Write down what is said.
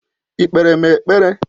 Ị́ kpere m ekpere?